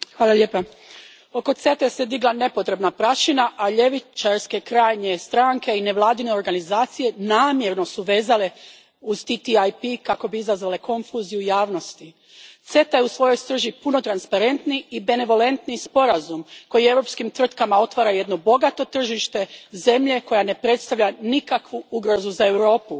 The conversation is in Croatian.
Gospođo predsjednice, oko CETE se digla nepotrebna prašina, a ljevičarske krajnje stranke i nevladine organizacije namjerno su je vezale uz TTIP kako bi izazvale konfuziju javnosti. CETA je u svojoj srži puno transparentniji i benevolentniji sporazum, koji europskim tvrtkama otvara jedno bogato tržište zemlje koja ne predstavlja nikakvu ugrozu za Europu.